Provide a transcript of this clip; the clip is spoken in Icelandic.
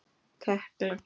Tekla